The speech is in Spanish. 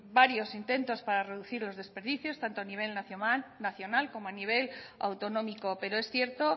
varios intentos para reducir los desperdicios tanto a nivel nacional como a nivel autonómico pero es cierto